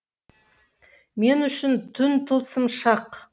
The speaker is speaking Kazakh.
мен үшін түн тылсым шақ